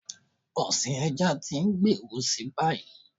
Ọ̀sìn ẹja tí ń gbèrú si báyìí.